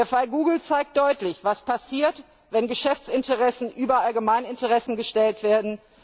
Der Fall Google zeigt deutlich, was passiert, wenn Geschäftsinteressen über Allgemeininteressen gestellt werden.